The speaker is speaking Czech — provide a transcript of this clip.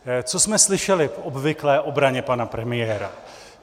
Co jsme slyšeli v obvyklé obraně pana premiéra?